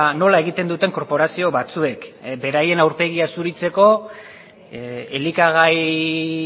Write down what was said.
nola egiten duten korporazio batzuek beraien aurpegia zuritzeko elikagai